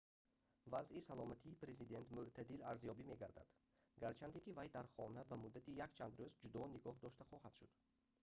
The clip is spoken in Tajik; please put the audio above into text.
вазъи саломатии президент мӯътадил арзёбӣ мегардад гарчанде ки вай дар хона ба муддати якчанд рӯз ҷудо нигоҳ дошта хоҳад шуд